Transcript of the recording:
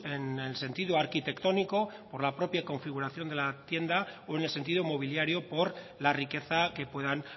en el sentido arquitectónico por la propia configuración de la tienda o en el sentido mobiliario por la riqueza que puedan